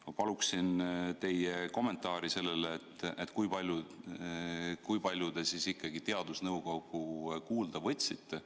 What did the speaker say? Ma palun teie kommentaari sellele, kui palju te teadusnõukoda kuulda võtsite.